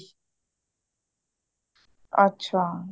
ਅੱਛਾ